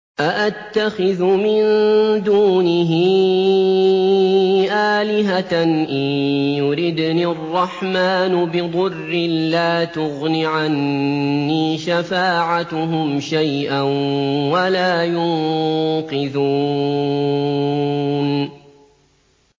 أَأَتَّخِذُ مِن دُونِهِ آلِهَةً إِن يُرِدْنِ الرَّحْمَٰنُ بِضُرٍّ لَّا تُغْنِ عَنِّي شَفَاعَتُهُمْ شَيْئًا وَلَا يُنقِذُونِ